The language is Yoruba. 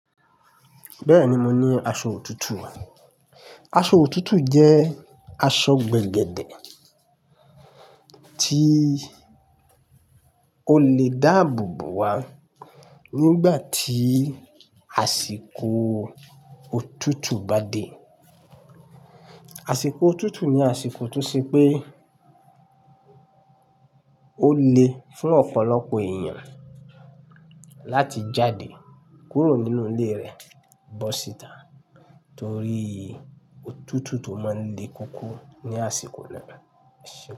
Bẹ́ẹ̀ni, mo ní aṣọ òtútù. Aṣọ òtútù jẹ́ aṣọ gbẹ̀gẹ̀dẹ̀ tí o lè dáàbò bo wa nígbà tí àsìkò òtútù bá dé. Àsìkò òtútù ni àsìkò tó ṣe pé ó le fún ọ̀pọ̀lọpọ̀ èèyàn láti jáde kúrò nínú ilé rẹ̀ bọ́ síta torí òtútù tó máa ń le koko ní àsìkò náà.